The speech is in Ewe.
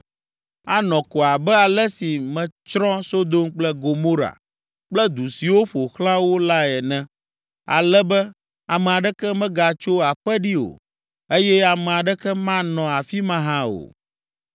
Anɔ ko abe ale si metsrɔ̃ Sodom kple Gomora kple du siwo ƒo xlã wo lae ene, ale be ame aɖeke magatso aƒe ɖi o eye ame aɖeke manɔ afi ma hã o.”